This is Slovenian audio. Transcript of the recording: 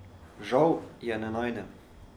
Žal je ne najdem.